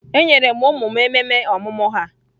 Enyere ụmụ m ememe ọmụmụ ha.